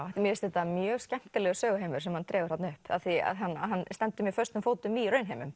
mér finnst þetta mjög skemmtilegur söguheimur sem hann dregur þarna upp af því að hann hann stendur mjög föstum fótum í raunheimum